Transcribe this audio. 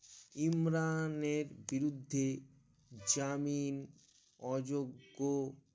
ইমরানের বিরুদ্ধে জামিন অযোগ্য